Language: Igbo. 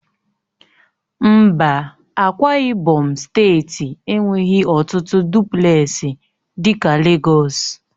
Mba, Ákwá ibom steeti enweghị ọtụtụ dụplesi dị ka Legọs